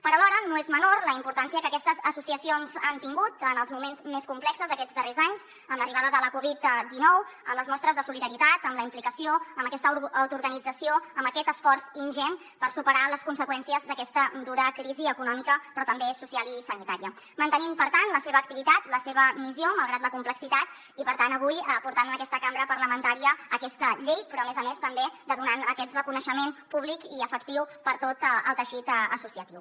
però alhora no és menor la importància que aquestes associacions han tingut en els moments més complexos aquests darrers anys amb l’arribada de la covid dinou amb les mostres de solidaritat amb la implicació amb aquesta autoorganització amb aquest esforç ingent per superar les conseqüències d’aquesta dura crisi econòmica però també social i sanitària mantenint per tant la seva activitat la seva missió malgrat la complexitat i per tant avui portant en aquesta cambra parlamentària aquesta llei però a més a més també donant aquest reconeixement públic i efectiu a tot el teixit associatiu